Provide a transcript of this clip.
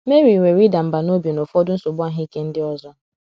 Mary nwere ịda mbà n’obi na ụfọdụ nsogbu ahụ ike ndị ọzọ.